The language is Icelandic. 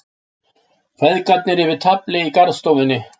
Feðgarnir yfir tafli í garðstofunni.